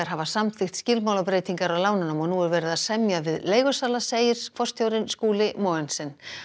hafa samþykkt skilmálabreytingar á lánunum og nú er verið að semja við leigusala segir forstjórinn Skúli Mogensen